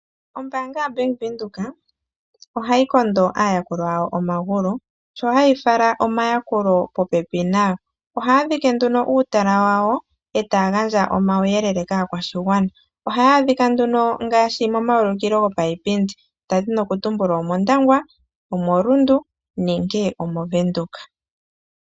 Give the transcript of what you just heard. Ombaanga yaVenduka ohayi kondo aayakulwa yawo omagulu sho hayi fala omayakulo popepi nayo. Ohaya dhike nduno uutala wawo taya gandja omauyelele kaa kwashigwana. Ohaya adhika nduno ngaashi mo mawulikilo gopa yipindi, onda dhina oku tumbula omOndangwa, omoRundu nenge omoVenduka.